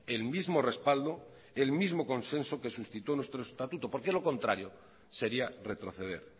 el mismo respaldo el mismo consenso que suscitó nuestro estatuto porque de lo contrario sería retroceder